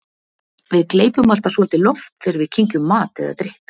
við gleypum alltaf svolítið loft þegar við kyngjum mat eða drykk